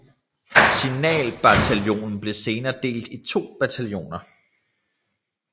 Signalbataljonen blev senere delt i to bataljoner